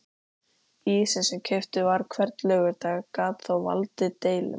Ísinn sem keyptur var hvern laugardag gat þó valdið deilum.